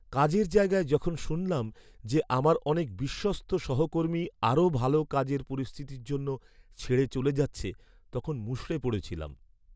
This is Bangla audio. কাজের জায়গায় যখন শুনলাম যে আমার অনেক বিশ্বস্ত সহকর্মী আরও ভালো কাজের পরিস্থিতির জন্য ছেড়ে চলে যাচ্ছে, তখন মুষড়ে পড়েছিলাম।